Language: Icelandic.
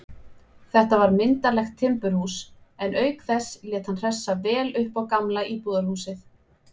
Þetta var myndarlegt timburhús, en auk þess lét hann hressa vel upp á gamla íbúðarhúsið.